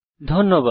ধন্যবাদ